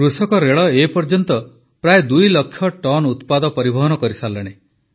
କୃଷକରେଳ ଏ ପର୍ଯ୍ୟନ୍ତ ପ୍ରାୟ 2 ଲକ୍ଷ ଟନ୍ ଉତ୍ପାଦ ପରିବହନ କରିସାରିଲାଣି